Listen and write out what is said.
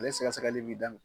Ale sɛgɛsɛgɛli bɛ daminɛ